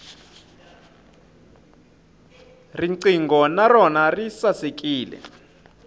riqingho na rona ri sasekile